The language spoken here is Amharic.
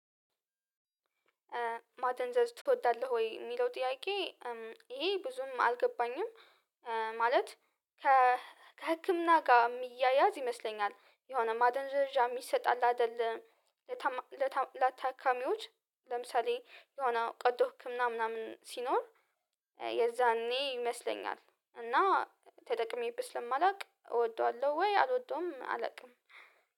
ማደንዘዝ ትወዳለህ ወይ የሚለው ጥያቄ? ይሄ ብዙም አልገባኝም። ከህክምና ጋር የሚያያዝ ይመስለኛል። የሆነ ማደንዘዣ የሚሰጣል አለ አይደለ ለታካሚዎች ለምሳሌ የሆነ ቀዶ ህክምና ምናምን ሲኖር። የዛኔ ይመስለኛል እና ተጠቅሜበት ስለማላውቅ እወደዋለሁ ወይ አልወደዉም አላቅም።